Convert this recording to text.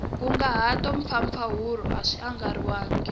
nkunguhato mpfapfarhuto a swi andlariwangi